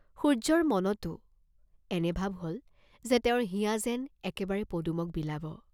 সূৰ্য্যৰ মনতো এনে ভাৱ হল যে তেওঁৰ হিয়া যেন একেবাৰেই পদুমক বিলাব।